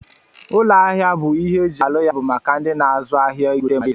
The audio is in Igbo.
Ụlọ ahia bu ihe eji alụ ya bu maka ndi n'azụ ahia igote ma na ere.